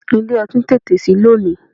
Ilé ọtí tètè sí lónìí.